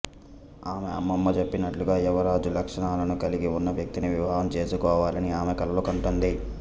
ఆమె అమ్మమ్మ చెప్పినట్లుగా యువరాజు లక్షణాలను కలిగి ఉన్న వ్యక్తిని వివాహం చేసుకోవాలని ఆమె కలలు కంటుంది